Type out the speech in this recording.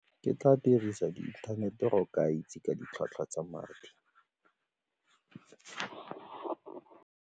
Ke tla dirisa inthanete go ka itse ka ditlhwatlhwa tsa madi.